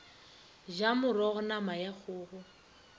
ja morogo nama ya kgogo